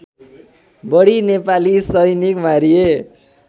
बढी नेपाली सैनिक मारिए